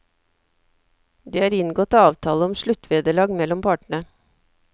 Det er inngått avtale om sluttvederlag mellom partene.